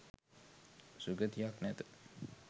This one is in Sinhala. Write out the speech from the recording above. සුගතියක් නැත.